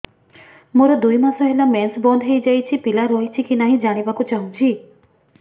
ମୋର ଦୁଇ ମାସ ହେଲା ମେନ୍ସ ବନ୍ଦ ହେଇ ଯାଇଛି ପିଲା ରହିଛି କି ନାହିଁ ଜାଣିବା କୁ ଚାହୁଁଛି